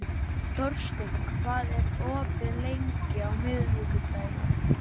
Þórsteinn, hvað er opið lengi á miðvikudaginn?